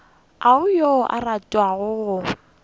ga go yo a ratago